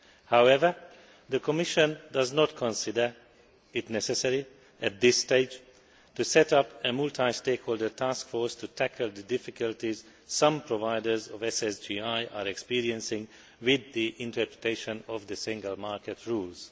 However, the Commission does not consider it necessary, at this stage, to set up a multi stakeholder taskforce to tackle the difficulties some providers of SSGI are experiencing with the interpretation of the single market rules.